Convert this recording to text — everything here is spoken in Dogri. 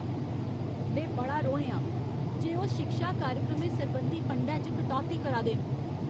में बड़ा रोहें आं जे ओह् शिक्षा कार्यक्रमें सरबंधी फंडै च कटौती करा दे न।